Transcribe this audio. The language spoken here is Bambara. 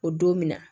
O don min na